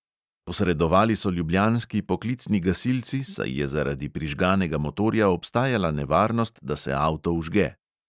Posredovali so ljubljanski poklicni gasilci, saj je zaradi prižganega motorja obstajala nevarnost, da se avto vžge.